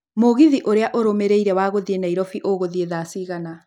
mũgithi urĩa ũrũmĩrĩire wa gũthiĩ Nairobi ũgũthiĩ thaa cigana